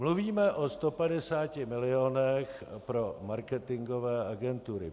Mluvíme o 150 milionech pro marketingové agentury.